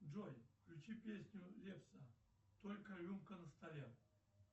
джой включи песню лепса только рюмка на столе